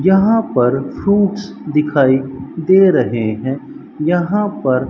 यहां पर फ्रूट्स दिखाई दे रहे हैं यहां पर--